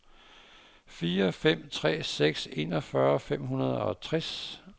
fire fem tre seks enogfyrre fem hundrede og tres